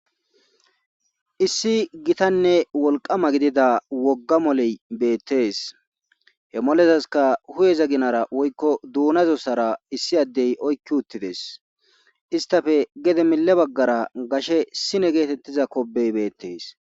issi gitanne wolqama gidida wogga moley beettees he molezaska huyeza ginara woykko duunazossara issi addey oykki uttides istafe gede mile baggara gashe sine geetettiza kobey beettes